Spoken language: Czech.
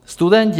Studenti.